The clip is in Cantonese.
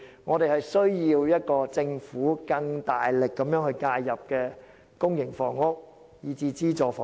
我們需要政府推出政策，更大力介入公營房屋和資助房屋。